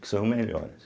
Que são melhores.